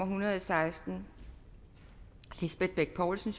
hundrede og seksten lisbeth bech poulsen